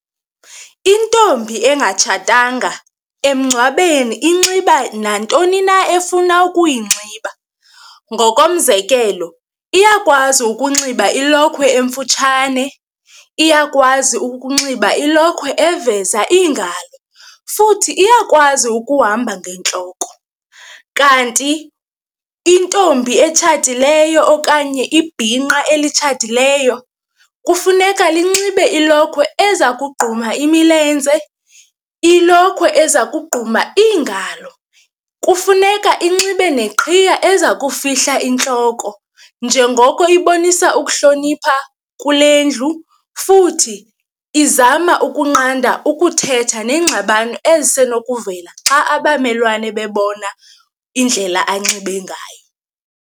Intombi engatshatanga emngcwabeni inxiba nantoni na efuna ukuyinxiba, ngokomzekelo iyakwazi ukunxiba ilokhwe emfutshane, iyakwazi ukunxiba ilokhwe eziveza iingalo futhi iyakwazi ukuhamba ngentloko. Kanti intombi etshatileyo okanye ibhinqa elitshatileyo kufuneka linxibe ilokhwe ezakugquma imilenze, ilokhwe ezakugquma iingalo. Kufuneka inxibe neqhiya eza yokufihla intloko njengoko ibonisa ukuhlonipha kule ndlu futhi izama ukunqanda ukuthetha neengxabano ezisenokuvelela xa abamelwane bebona indlela anxibe ngayo.